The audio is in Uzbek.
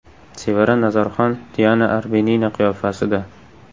Sevara Nazarxon Diana Arbenina qiyofasida.